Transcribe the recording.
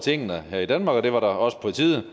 tingene her i danmark men det var også på tide